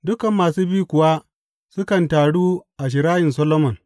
Dukan masu bi kuwa sukan taru a Shirayin Solomon.